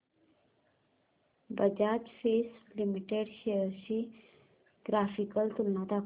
Bajaj Finserv limited shares ची graphical तुलना दाखव